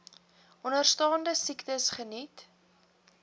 onderstaande siektes geniet